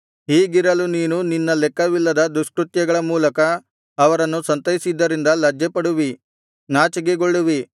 ಹೀಗಿರಲು ನೀನು ನಿನ್ನ ಲೆಕ್ಕವಿಲ್ಲದ ದುಷ್ಕೃತ್ಯಗಳ ಮೂಲಕ ಅವರನ್ನು ಸಂತೈಸಿದ್ದರಿಂದ ಲಜ್ಜೆಪಡುವಿ ನಾಚಿಕೆಗೊಳ್ಳುವಿ